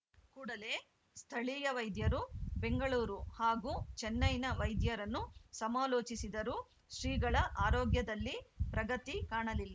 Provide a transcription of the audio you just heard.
ಕೂಡಲೇ ಸ್ಥಳೀಯ ವೈದ್ಯರು ಬೆಂಗಳೂರು ಹಾಗೂ ಚೆನ್ನೈನ ವೈದ್ಯರನ್ನು ಸಮಾಲೋಚಿಸಿದರೂ ಶ್ರೀಗಳ ಆರೋಗ್ಯದಲ್ಲಿ ಪ್ರಗತಿ ಕಾಣಲಿಲ್